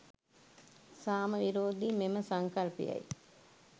සාම විරෝධි මෙම සංකල්පයයි.